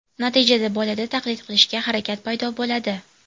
Natijada bolada taqlid qilishga harakat paydo bo‘ladi.